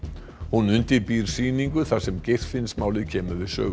hún undirbýr sýningu þar sem Geirfinnsmálið kemur við sögu